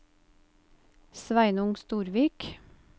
Sveinung Storvik